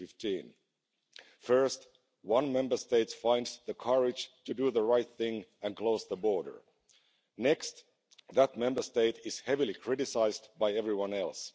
2015. First, one Member State finds the courage to do the right thing and close the border, next that Member State is heavily criticised by everyone else.